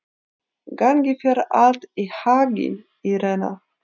Gangi þér allt í haginn, Írena.